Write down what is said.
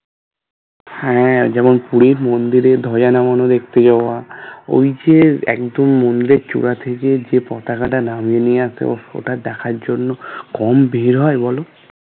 হ্যাঁ যেমন পুরীর মন্দিরের ধ্বজা নামানো দেখতে যাওয়া ওইযে একদম মন্দির চূড়া থেকে যে পতাকাটা নামিয়ে নিয়ে আছে ওটা দেখার জন্য কম ভিড় হয় বলো